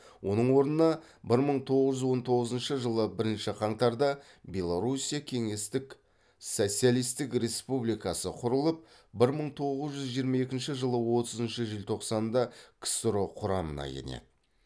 оның орнына бір мың тоғыз жүз он тоғызыншы жылы бірінші қаңтарда белоруссия кеңестік социалистік республикасы құрылып бір мың тоғыз жүз жиырма екінші жылы отызыншы желтоқсанда ксро құрамына енеді